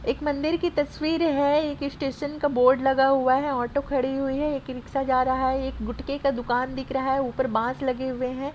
एक मंदिर की तस्वीर है स्टेशन का बोर्ड लगा हुआ है एक ऑटो खड़ी हुई है एक ई रिक्शा जा रही हैएक गुटके का दुकान दिख रहा है ऊपर बास लगे हुए हैं।